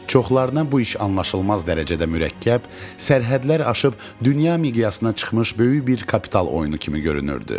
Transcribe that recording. Çoxlarına bu iş anlaşılmaz dərəcədə mürəkkəb, sərhədlər aşıb dünya miqyasına çıxmış böyük bir kapital oyunu kimi görünürdü.